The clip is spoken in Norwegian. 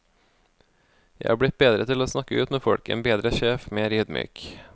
Jeg er blitt bedre til å snakke ut med folk, en bedre sjef, mer ydmyk.